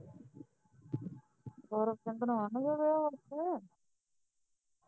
ਹੋਰ ਵਨ ਚੜਿਆ ਵਾ ਉਥੇ